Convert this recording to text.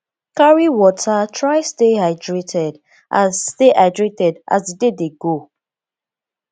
carry water try stay hydrated as stay hydrated as di day dey go